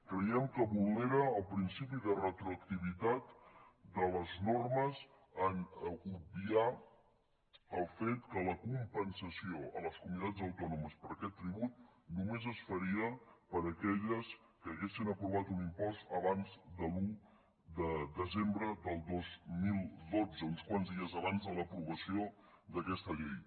creiem que vulnera el principi de retroactivitat de les normes en obviar el fet que la compensació a les comunitats autònomes per aquest tribut només es faria per a aquelles que haguessin aprovat un impost abans de l’un de desembre de dos mil dotze uns quants dies abans de l’aprovació d’aquesta llei